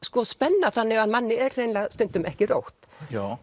spenna þannig að manni er hreinlega stundum ekki rótt